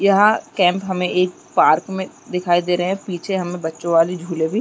यहाँ कैंप हमें एक पार्क में दिखाई दे रहे है पीछे हमें बच्चो वाली झूले भी--